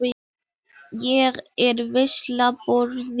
Ég er veisluborðið.